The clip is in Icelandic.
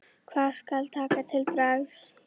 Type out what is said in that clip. Hvað skal taka til bragðs?